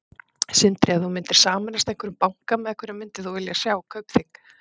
Sindri: Ef þú myndir sameinast einhverjum banka, með hverjum myndir þú vilja sjá Kaupþing?